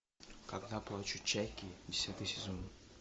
когда плачут чайки десятый сезон